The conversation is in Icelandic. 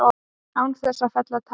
Án þess að fella tár.